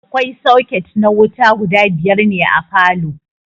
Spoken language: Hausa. Akwai soket na wuta guda biyar ne a falow